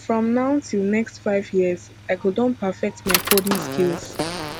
from now till next five years i go don perfect my coding skills